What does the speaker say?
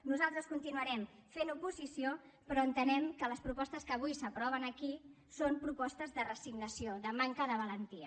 nosaltres continuarem fent oposició però entenem que les propostes que avui s’aproven aquí són propostes de resignació de manca de valentia